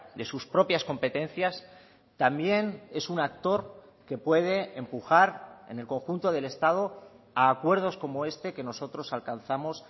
de sus propias competencias también es un actor que puede empujar en el conjunto del estado a acuerdos como este que nosotros alcanzamos